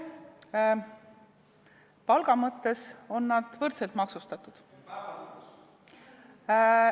Palga mõttes on nad võrdselt maksustatud.